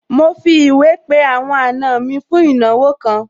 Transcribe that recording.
Mo fi ìwé pé àwọn àna mi fún ìnáwó kan